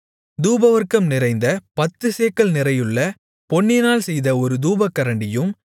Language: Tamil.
தூபவர்க்கம் நிறைந்த பத்துச்சேக்கல் நிறையுள்ள பொன்னினால் செய்த ஒரு தூபகரண்டியும்